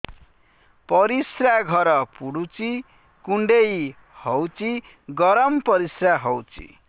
ପରିସ୍ରା ଘର ପୁଡୁଚି କୁଣ୍ଡେଇ ହଉଚି ଗରମ ପରିସ୍ରା ହଉଚି